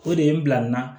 O de ye n bila n na